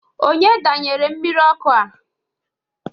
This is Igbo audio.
Onye danyere mmiri ọkụ a?